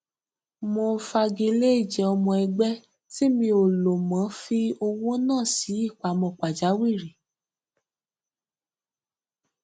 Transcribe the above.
mo fagilé ìjẹ ọmọ ẹgbẹ tí mi ò lo mo fi owó náà sí ìpamọ pàjáwìrì